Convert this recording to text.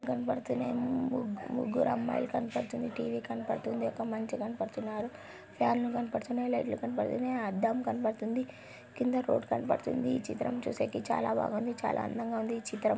కనపడుతుంది ముగ్గురు అమ్మాయిలు కనపడుతుంది టీ_వీ కనబడుతుంది ఒక మనిషి కనపడుతున్నారు. ఫ్యాన్లు కనపడుతున్నై లైట్స్ కనబడుతున్నై అద్దం కనబడుతుంది. కింద ఫ్లోర్ కనబడుతుంది ఈ చిత్రం చూడడని చాలా బాగుంది చాలా అందంగా ఉందని చిత్రం.